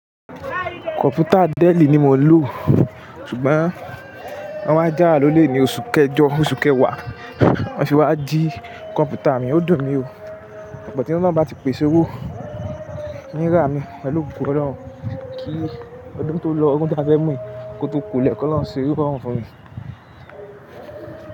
Kọ̀mpútà dell ni mo ń lò, ṣùgbọ́n wọn wá jáwa a lólè ní oṣù kẹjọ, oṣù kẹwàá. Wọ́n sì wá jí kọ̀mpútà mi, ó dùn mí o. But tí oloun bá ti pèsè owó, in rá mi, pèlú ògo Ọlọ́run kí ọdún tó lọ, ọdún tí a fẹ́ mú yìí kó tó kolẹ̀ k'olorun ṣe ni'rorun fún mi.